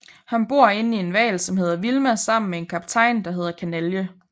Han bor inde i en hval som hedder Vilma sammen med en kaptajn der hedder Kanalje